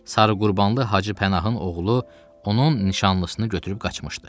Sarıqurbanlı Hacı Pənahın oğlu onun nişanlısını götürüb qaçmışdı.